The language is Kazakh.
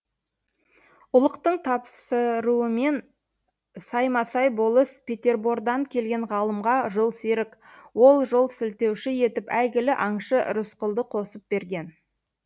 ұлықтың тапсыруымен саймасай болыс петербордан келген ғалымға жолсерік ол жол сілтеуші етіп әйгілі аңшы рысқұлды қосып берген